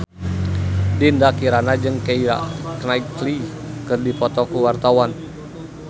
Dinda Kirana jeung Keira Knightley keur dipoto ku wartawan